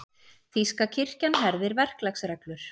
Þýska kirkjan herðir verklagsreglur